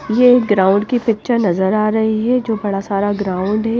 ये ग्राउंड की पिक्चर नजर आ रही है जो बड़ा सारा ग्राउंड है।